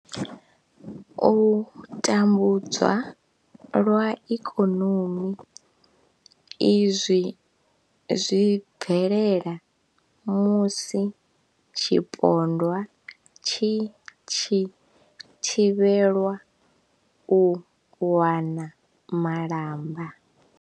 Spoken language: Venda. U tambudzwa lwa ikonomi, Izwi zwi bvelela musi tshipondwa tshi tshi thivhelwa u wana malamba.